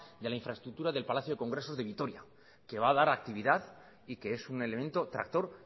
de la infraestructura del palacio de congresos de vitoria que va a dar actividad y que es un elemento tractor